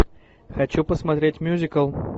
хочу посмотреть мюзикл